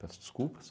Peço desculpas.